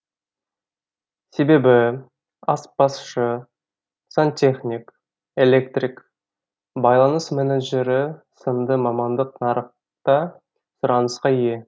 себебі аспазшы сантехник электрик байланыс менеджері сынды мамандық нарықта сұранысқа ие